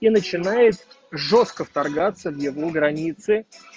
и начинает жёстко вторгаться в его границы